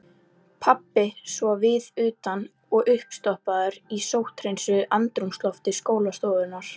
Pabbi svo viðutan og uppstoppaður í sótthreinsuðu andrúmslofti skólastofunnar.